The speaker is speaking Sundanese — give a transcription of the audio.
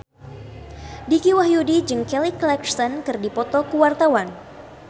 Dicky Wahyudi jeung Kelly Clarkson keur dipoto ku wartawan